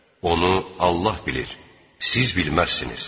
Onu Allah bilir, siz bilməzsiniz.